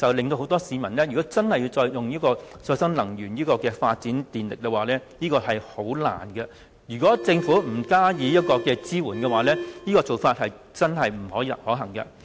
所以，讓市民自家發展再生能源是十分困難的。如果政府不加以支援，這個方法並不可行。